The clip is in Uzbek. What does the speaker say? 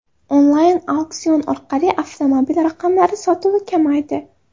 Onlayn auksion orqali avtomobil raqamlari sotuvi kamaydi.